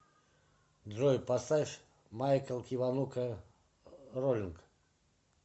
джой поставь майкл киванука роллинг